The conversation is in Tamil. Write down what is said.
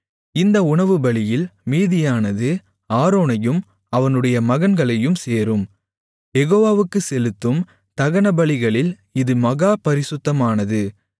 இந்த உணவுபலியில் மீதியானது ஆரோனையும் அவனுடைய மகன்களையும் சேரும் யெகோவாவுக்குச் செலுத்தும் தகனங்களில் இது மகா பரிசுத்தமானது